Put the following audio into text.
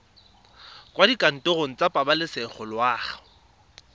kwa dikantorong tsa pabalesego loago